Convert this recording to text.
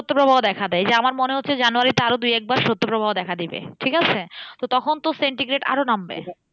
শৈত্য প্রবাহ দেখা দেয়। এই যা আমার মনে হচ্ছে জানুয়ারী তে আরো দুই একবার শৈত্য প্রবাহ দেখা দিবে, ঠিকাছে? তো তখন তো centigrade আরও নামবে।